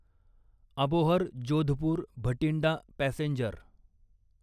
Abohar Jodhpur Bathinda passenger